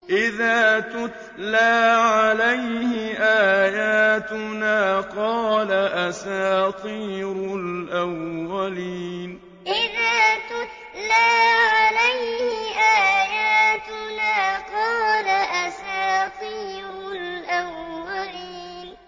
إِذَا تُتْلَىٰ عَلَيْهِ آيَاتُنَا قَالَ أَسَاطِيرُ الْأَوَّلِينَ إِذَا تُتْلَىٰ عَلَيْهِ آيَاتُنَا قَالَ أَسَاطِيرُ الْأَوَّلِينَ